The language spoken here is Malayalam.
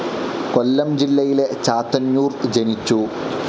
കൊല്ലം ജില്ലയിലെ ചാത്തന്നൂർ ജനിച്ചു.